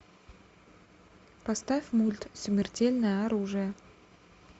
поставь мульт смертельное оружие